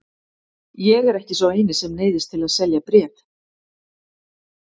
Ég er ekki sá eini sem neyðist til að selja bréf.